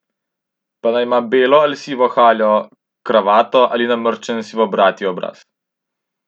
Pa naj ima belo al sivo haljo, kravato ali namrščen sivobradi obraz.